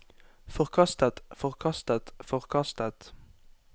forkastet forkastet forkastet